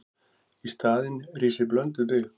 Í staðinn rísi blönduð byggð.